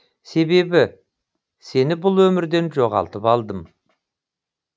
себебі сені бұл өмірден жоғалтып алдым